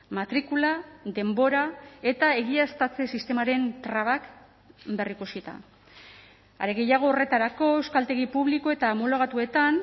matrikula denbora eta egiaztatze sistemaren trabak berrikusita are gehiago horretarako euskaltegi publiko eta homologatuetan